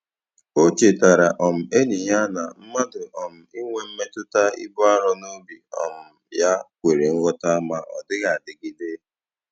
O chetara um enyi ya na mmadụ um inwe mmetụta ibu arọ n'obi um ya kwere nghọta ma ọ dịghị adịgide.